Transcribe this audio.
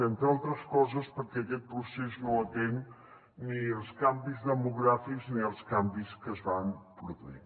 entre altres coses perquè aquest procés no atén ni als canvis demogràfics ni als canvis que es van produint